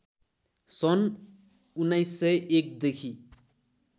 सन् १९०१ देखि